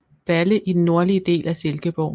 Balle i den nordlige del af Silkeborg